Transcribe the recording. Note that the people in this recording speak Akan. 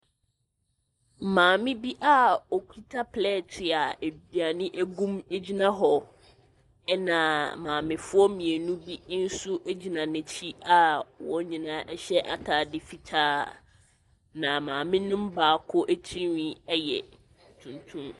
Maame bi a ɔkuta plɛte a aduane ɛgu mu agyina hɔ ɛna maamefoɔ mienu bi nso agyina n'akyi a wɔn nyinaa ɛhyɛ ataade fitaa. Na maame no mu baako atirenwin ɛyɛ tuntum.